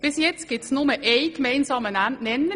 Bisher gibt es nur einen gemeinsamen Nenner: